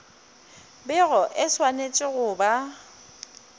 bego e swanetše go ba